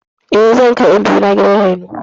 Eh, zan kai ƴan biyu na gidan raino.